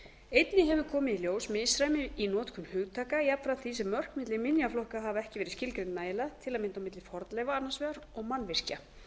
komið í ljós misræmi í notkun hugtaka jafnframt því sem mörk milli minjaflokka hafa verið skilgreind nægilega til að mynda milli fornleifa annars vegar og mannvirkja